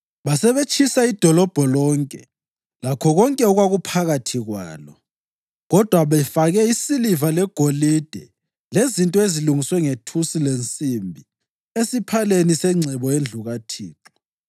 Basebetshisa idolobho lonke lakho konke okwakuphakathi kwalo, kodwa befake isiliva legolide lezinto ezilungiswe ngethusi lensimbi esiphaleni sengcebo yendlu kaThixo.